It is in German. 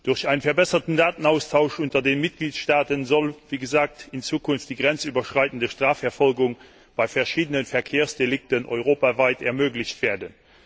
Durch einen verbesserten Datenaustausch unter den Mitgliedstaaten soll, wie gesagt, in Zukunft die grenzüberschreitende Strafverfolgung bei verschiedenen Verkehrsdelikten europaweit ermöglicht werden.